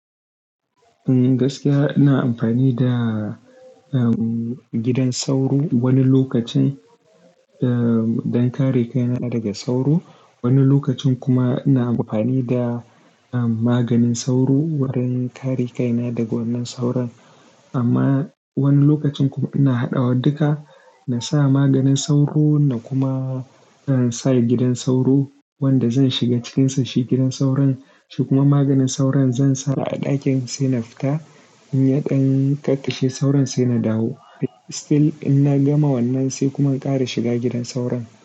Gaskiya ina amfani da, um, gidan sauro wani lokacin, um, don kare kaina daga sauro. Wani lokacin kuma ina amfani da, um, maganin sauro wurin kare kaina daga wannan sauron. Amma wani lokacin kuma ina haɗa wa duka. Na sa maganin sauro na kuma, um, sa gidan sauro wanda zan shiga cikinsa. Shi gidan sauron shi kuma maganin sauron zan sa a ɗakin sai na fita. In ya ɗan kakkashe sauron sai na dawo. Still in na gama wannan sai kuma in ƙara shiga gidan sauron.